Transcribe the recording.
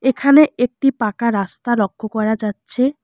এখানে একটি পাকা রাস্তা লক্ষ করা যাচ্ছে।